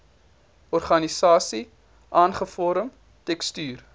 organiese ankervorm tekstuur